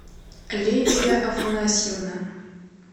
лидия афанасьевна